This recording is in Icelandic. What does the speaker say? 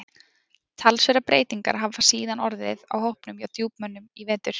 Talsverðar breytingar hafa síðan orðið á hópnum hjá Djúpmönnum í vetur.